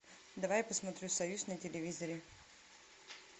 давай я посмотрю союз на телевизоре